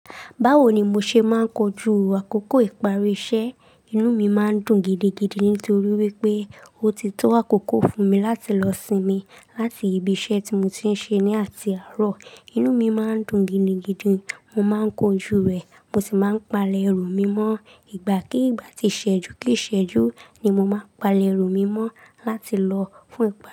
Báwo ni mo ṣe máa ń kojú àkókò ìparí iṣẹ́? Inú mi máa ń dùn gidigidi nítorí wípé ó ti tó àkókò fún mi láti lọ sinmi láti ibi iṣẹ́ tí mo ti ń ṣe ní àti àárọ̀. Inú mi máa ń dùn gidigidi. Mo máa ń kojú rẹ̀. Mo sì máa ń palẹ̀ ẹrù mi mọ́. Ìgbà kí ìgbà tí ṣẹ́jú kí í ṣẹ́jú ni mo máa palẹ̀ ẹrù mi mọ́ láti lọ fún ìgbà.